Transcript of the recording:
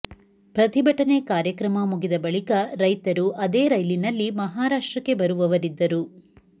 ಪ್ರತಿಭಟನೆ ಕಾರ್ಯಕ್ರಮ ಮುಗಿದ ಬಳಿಕ ರೈತರು ಅದೇ ರೈಲಿನಲ್ಲಿ ಮಹಾರಾಷ್ಟ್ರಕ್ಕೆ ಬರುವವರಿದ್ದರು